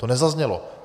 To nezaznělo.